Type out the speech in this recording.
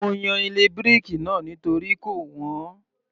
Mo yan ilé bíríkì náà nítorí kò wọ́n